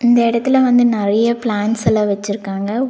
இந்த எடத்துல வந்து நெறைய பிளான்ட்ஸ் எல்லா வெச்சிருக்காங்க.